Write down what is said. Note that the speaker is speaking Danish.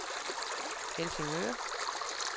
Helsingør